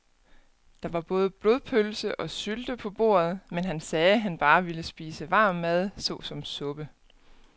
Der var både blodpølse og sylte på bordet, men han sagde, at han bare ville spise varm mad såsom suppe.